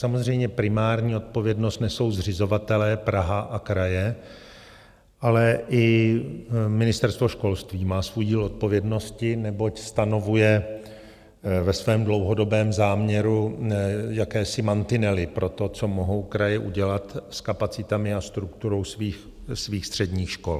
Samozřejmě primární odpovědnost nesou zřizovatelé - Praha a kraje, ale i Ministerstvo školství má svůj díl odpovědnosti, neboť stanovuje ve svém dlouhodobém záměru jakési mantinely pro to, co mohou kraje udělat s kapacitami a strukturou svých středních škol.